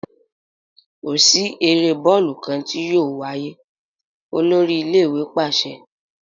Ko si ere bọọlu kan ti yóò waye, olori ile-iwe paṣẹ!